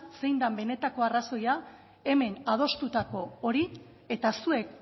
zein den benetako arrazoia hemen adostutako hori eta zuek